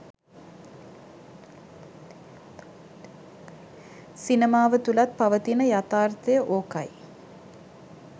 සිනමාව තුළත් පවතින යථාර්තය ඕකයි